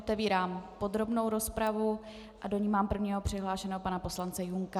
Otevírám podrobnou rozpravu a do ní mám prvního přihlášeného pana poslance Junka.